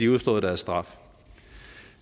udstået deres straf